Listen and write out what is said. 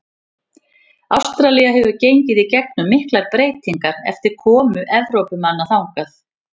Ástralía hefur gengið í gegnum miklar breytingar eftir komu Evrópumanna þangað.